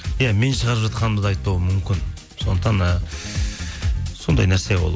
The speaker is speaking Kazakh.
иә мен шығарып жатқанымды да айтпауы мүмкін сондықтан ы сондай нәрсе ол